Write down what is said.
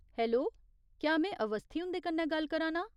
Hello, क्या में अस्वथी हुंदे कन्नै गल्ल करा नां ?